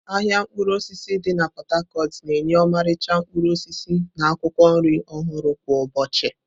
Ahịa mkpụrụ osisi di na Pot-Tacot na-enye ọmarịcha mkpụrụ osisi na akwụkwọ nri ọhụrụ kwa ụbọchị.